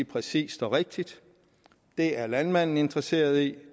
præcist og rigtigt det er landmanden interesseret i og